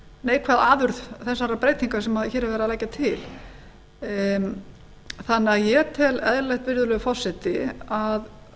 neikvæð afurð þessarar breytinga sem hér er verið að leggja til þannig að ég tel eðlilegt virðulegi forseti að